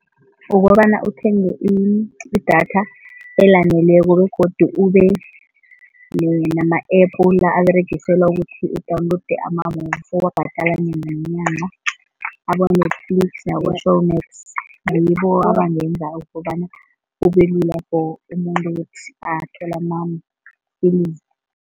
Ukobana uthenge idatha elaneleko begodu ubenama-App aberegiselwa ukuthi u-download ama-movie uyabhadala abo-Netflix, abo-Showmax ngibo abangenza ukobana kubelula for umuntu ukuthi athole amafilimu.